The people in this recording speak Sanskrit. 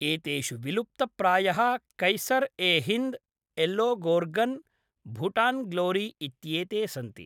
एतेषु विलुप्तप्रायः कैसर् ए हिन्द्, येल्लोगोर्गन्, भूटान्ग्लोरी इत्येते सन्ति।